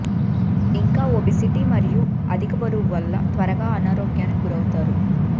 ఇంకా ఓబేసిటి మరియు అధిక బరువు వల్ల త్వరగా అనారోగ్యానికి గురౌతారు